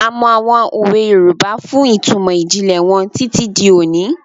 A mọ àwọn òwe Yorùbá fún ìtumọ̀ ìjìnlẹ̀ wọn títí di òní.